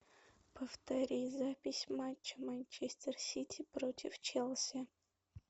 повтори запись матча манчестер сити против челси